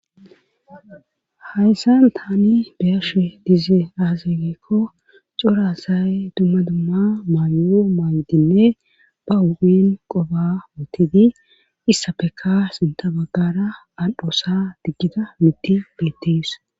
Hayssan tani beyashe dize aazageekko corasay dumma dumma maayo maaydinne ba uphin qoba mootidi issa peka sinta baggara al7hoosa diggida mutti beettees.